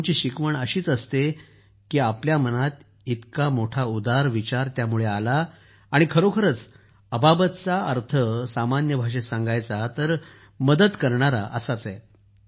गुरूंची शिकवण हीच असते की आपल्या मनात इतका मोठा उदार विचार आला आणि खरोखरच अबाबतचा अर्थ सामान्य भाषेत सांगायचा तर मदत करणारा असा आहे